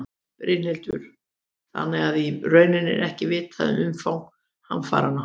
Brynhildur: Þannig að í rauninni er ekki vitað um umfang hamfaranna?